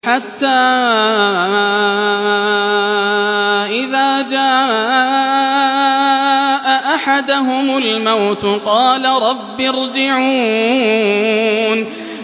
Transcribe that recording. حَتَّىٰ إِذَا جَاءَ أَحَدَهُمُ الْمَوْتُ قَالَ رَبِّ ارْجِعُونِ